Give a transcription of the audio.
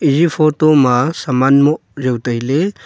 eya photo ma saman moh jaw tailey.